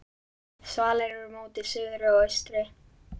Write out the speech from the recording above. Svalir eru móti suðri og austri.